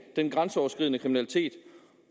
den grænseoverskridende kriminalitet